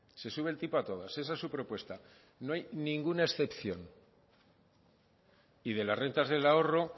se sube el tipo a todas esa es su propuesta no hay ninguna excepción y de las rentas del ahorro